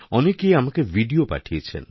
অনেকে আমাকে ভিডিও পাঠিয়েছেন